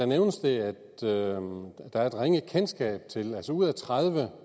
nævnes det at der er et ringe kendskab til altså ud af tredive